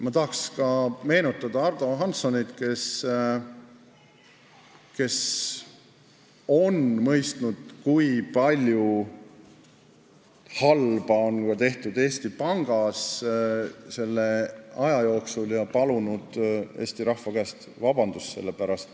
Ma tahan meenutada ka Ardo Hanssonit, kes on mõistnud, kui palju halba on tehtud Eesti Pangas selle aja jooksul, ja palunud Eesti rahva käest vabandust selle pärast.